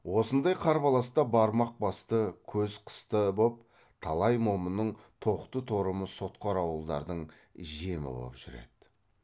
осындай қарбаласта бармақ басты көз қысты боп талай момынның тоқты торымы сотқар ауылдардың жемі боп жүреді